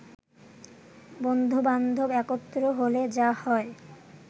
বন্ধুবান্ধব একত্র হলে যা হয়